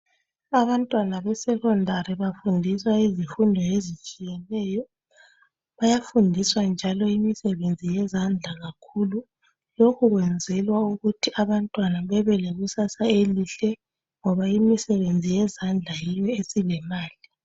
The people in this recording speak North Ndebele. Abantwana be secondary bafundiswa izifundo ezitshiyeneyo. Bayafundiswa njalo imisebenzi yezandla kakhulu. Lokhu kwenzelwa ukuthi abantwana bebelekusasa elihle ngoba imisebenzi yezandla yiyo esilemali.